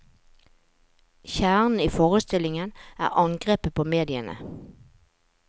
Kjernen i forestillingen er angrepet på mediene.